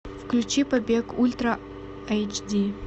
включи побег ультра эйч ди